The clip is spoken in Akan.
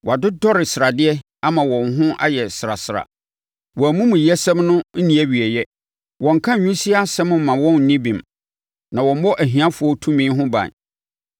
Wɔadodɔre sradeɛ ama wɔn ho ayɛ srasra. Wɔn amumuyɛsɛm no nni awieeɛ; wɔnnka nwisiaa asɛm mma wɔn nni bem, na wɔmmɔ ahiafoɔ tumi ho ban.